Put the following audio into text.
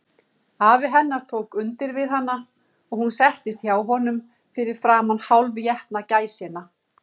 Afi hennar tók undir við hana, og hún settist hjá honum fyrir framan hálfétna gæsina.